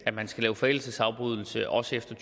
at man skal lave forældelsesafbrydelse også efter